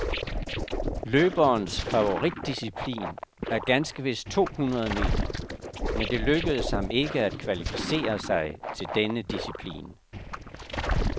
Løberens favoritdisciplin er ganske vist to hundrede meter, men det lykkedes ham ikke at kvalificere sig til denne disciplin.